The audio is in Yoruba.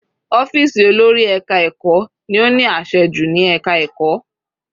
Ọ́fìsì olórí ẹka ẹ̀kọ́ ni ó ní àṣẹ jù ní ẹka ẹ̀kọ́.